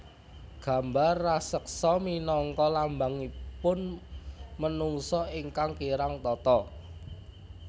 Gambar raseksa minangka lambangipun menungsa ingkang kirang tata